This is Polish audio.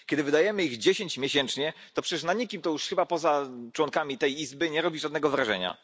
Kiedy wydajemy ich dziesięć miesięcznie, na nikim to już chyba, poza członkami tej Izby, nie robi żadnego wrażenia.